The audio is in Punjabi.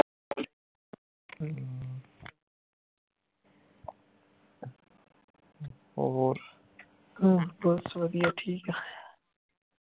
ਹੋਰ ਬੱਸ ਵਧੀਆ ਠੀਕ ਆ